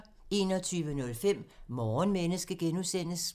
21:05: Morgenmenneske (G)